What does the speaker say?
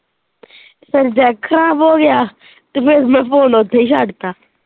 ਫੇਰ ਜੈਕ ਖਰਾਬ ਹੋੋ ਗਿਆ ਤੇ ਫਿਰ ਮੈਂ phone ਉੱਥੇ ਹੀ ਛੱਡ ਤਾ।.